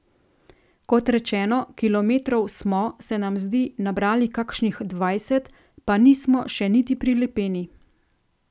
Kot rečeno, kilometrov smo, se nam zdi, nabrali kakšnih dvajset, pa nismo še niti pri Lepeni.